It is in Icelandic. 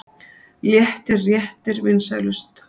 Léttir réttir vinsælust